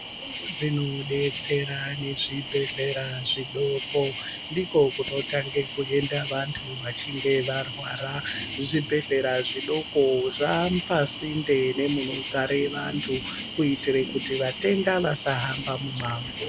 Dzino detsera ne zvibhedhlera zvidoko ndiko kuno tange kuenda vantu vachinge va rwara zvibhedhlera zvidoko zvapa sinte nemuno gare vantu kuitire kuti vatenda vasa hamba mu mango.